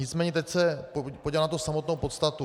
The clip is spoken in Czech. Nicméně teď se podívám na tu samotnou podstatu.